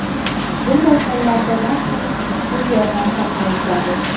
Bunday hollarda darhol tez yordam chaqirish zarur.